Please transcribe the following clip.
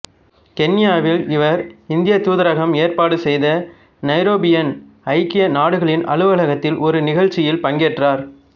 கென்யாவில் இவர் இந்தியத் தூதரகம் ஏற்பாடு செய்த நைரோபியின் ஐக்கிய நாடுகளின் அலுவலகத்தில் ஒரு நிகழ்ச்சியில் பங்கேற்றார்